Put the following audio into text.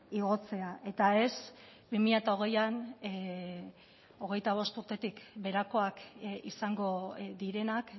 igotzea eta ez bi mila hogeian hogeita bost urtetik beherakoak izango direnak